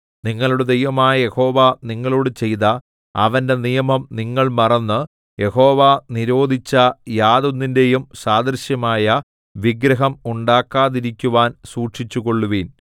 നിങ്ങളുടെ ദൈവമായ യഹോവ നിങ്ങളോടു ചെയ്ത അവന്റെ നിയമം നിങ്ങൾ മറന്ന് യഹോവ നിരോധിച്ച യാതൊന്നിന്റെയും സാദൃശ്യമായ വിഗ്രഹം ഉണ്ടാക്കാതിരിക്കുവാൻ സൂക്ഷിച്ചുകൊള്ളുവിൻ